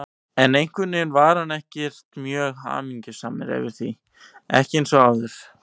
En einhvern veginn var hann ekkert mjög hamingjusamur yfir því, ekki eins og áður.